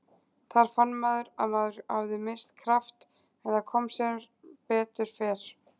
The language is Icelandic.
Þar fann maður að maður hafði misst kraft en það kom sem betur fer.